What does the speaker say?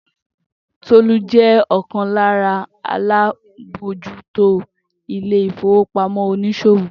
Tolú jẹ́ ọ̀kan lára alábòójútó ilé ìfowópamọ́ oníṣòwò.